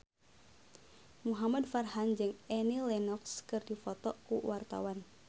Muhamad Farhan jeung Annie Lenox keur dipoto ku wartawan